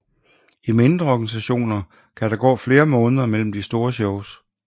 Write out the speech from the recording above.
I mindre organisationer kan der gå flere måneder mellem de store shows